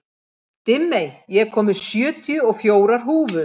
Dimmey, ég kom með sjötíu og fjórar húfur!